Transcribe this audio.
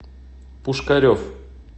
пушкарев